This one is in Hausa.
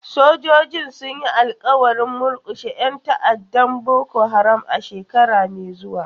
Sojojin sun yi alƙawarin murkushe 'yan ta'addar Boko Haram a shekara mai zuwa.